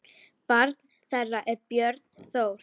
Barn þeirra er Björn Þór.